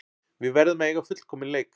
Við verðum að eiga fullkominn leik